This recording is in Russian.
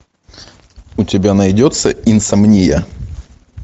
у тебя найдется инсомния